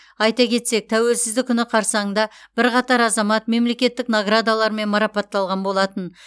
айта кетсек тәуелсіздік күні қарсаңында бірқатар азамат мемлекеттік наградалармен марапатталған болатын